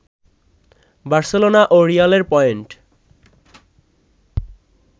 Barcelona ও রিয়ালের point